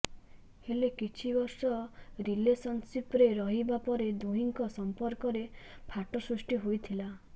ହେଲେ କିଛି ବର୍ଷ ରିଲେସନ୍ସିପ୍ରେ ରହିବା ପରେ ଦୁହିଁଙ୍କ ସମ୍ପର୍କରେ ଫାଟ ସୃଷ୍ଟି ହୋଇଥିଲା